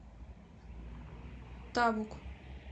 табук